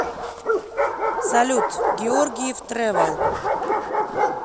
салют георгиев трэвел